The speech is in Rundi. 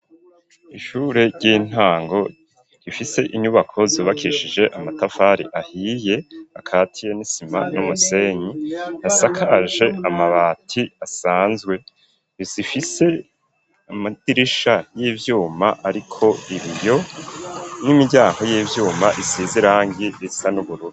Ishure ry'intango ifise inyubako zubakishije amatafari ahiye akatiye nisima n'umusenyi asakaje amabati asanzwe inzu ifise amadirisha y'ibyuma ariko ibiyo n'imiryango y'ivyuma isiz irangi risa n'ubururu.